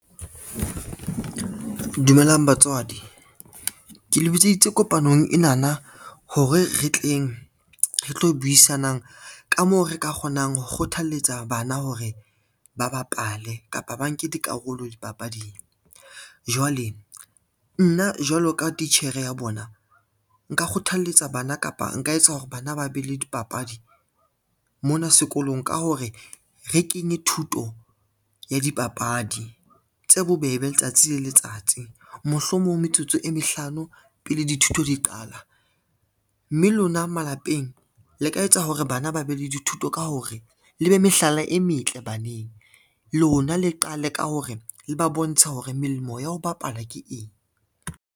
Dumelang batswadi, ke le bitseditse kopanong enana hore re tleng re tlo buisanang ka moo re ka kgonang ho kgothalletsa bana hore ba bapale kapa ba nke dikarolo dipapading. Jwale nna jwalo ka titjhere ya bona, nka kgothalletsa bana kapa nka etsa hore bana ba be le dipapadi mona sekolong ka hore re kenye thuto ya dipapadi tse bobebe letsatsi le letsatsi. Mohlomong metsotso e mehlano pele dithuto di qala, mme lona malapeng le ka etsa hore bana ba be le dithuto ka hore le be mehlala e metle baneng lona le qale ka hore le ba bontshe hore melemo ya ho bapala ke eng.